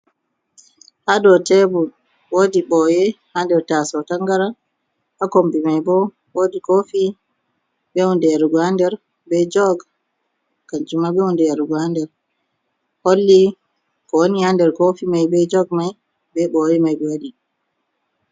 Haa dow teebur woodi ɓooye haa nder taasawo tanngarang, haa kommbi may bo woodi koofi bee huunde yarugo haa nder, bee jog kannjum ma bee huunde yarugo haa nder. Holli ko woni haa nder koofi may bee jog may bee booye may ɓe waɗi.